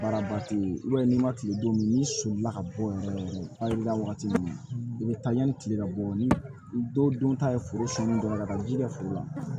Baara ba ti ye i b'a ye n'i ma kile don n'i sɔnna ka bɔ o yɔrɔ la wagati min i bɛ taa yanni tile ka bɔ ni dɔw dun ta ye foro sɛni dɔrɔn ka ji kɛ foro la